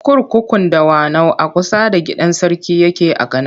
Kurkukun Dawanau a kusa da gidan sarki yake a Kano.